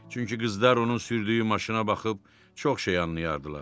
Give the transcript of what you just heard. Çünki qızlar onun sürdüyü maşına baxıb çox şey anlayardılar.